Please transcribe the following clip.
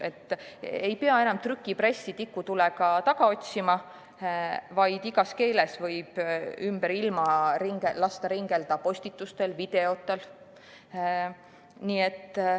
Enam ei pea trükipressi tikutulega taga otsima, vaid igas keeles võib lasta ümber ilma ringelda postitustel ja videotel.